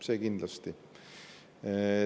Seda kindlasti.